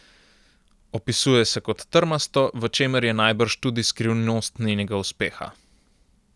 Opisuje se kot trmasto, v čemer je najbrž tudi skrivnost njenega uspeha.